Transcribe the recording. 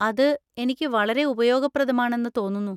അത് എനിക്ക് വളരെ ഉപയോഗപ്രദമാണെന്ന് തോന്നുന്നു.